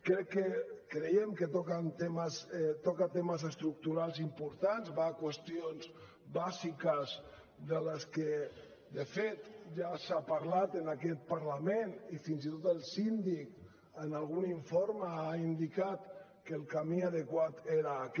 crec creiem que toca temes estructurals importants va a qüestions bàsiques de les que de fet ja s’ha parlat en aquest parlament i fins i tot el síndic en algun informe ha indicat que el camí adequat era aquest